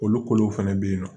Olu kolow fɛnɛ be yen nɔ